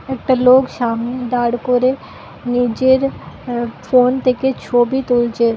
একটা লোক সামনে দাড় করে নিজের আহ ফোন থেকে ছবি তুলছে।